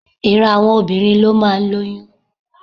Ìran àwọn obìnrin ló máa ń lóyún.